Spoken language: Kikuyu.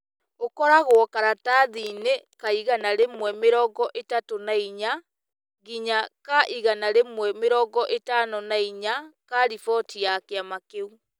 ũkoragwo karatathi-inĩ ka igana rĩmwe mĩrongo ĩtatũ na inya nginya ka igana rĩmwe mĩrongo ĩtano na inya ka riboti ya kĩama kĩu.